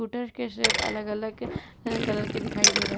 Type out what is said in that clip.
Scooter के shape अलग-अलग colour के दिखाई दे रहे हैं।